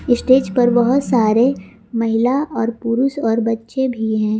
Stage पर बहुत सारे महिला और पुरुष और बच्चे भी है।